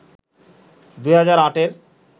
২০০৮-এর